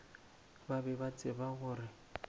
ba be ba tseba gore